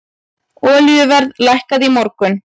Olíuverð lækkaði í morgun.